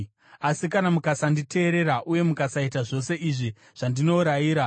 “ ‘Asi kana mukasanditeerera uye mukasaita zvose izvi zvandinorayira,